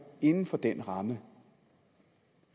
inden for den ramme